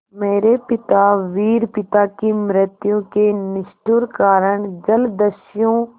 मेरे पिता वीर पिता की मृत्यु के निष्ठुर कारण जलदस्यु